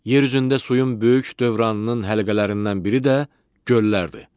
Yer üzündə suyun böyük dövranının həlqələrindən biri də göllərdir.